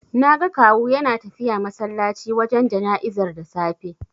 Naga Kawu yana tafiya masallaci wajen jana'izar da safe.